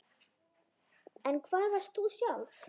En hvar varst þú sjálf